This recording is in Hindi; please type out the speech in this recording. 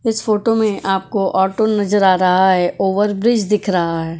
इस फोटो में आपको ऑटो नजर आ रहा है ओवरब्रिज दिख रहा है।